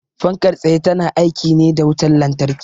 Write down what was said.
Fankar tsaye ta na aiki ne da wutan lantarki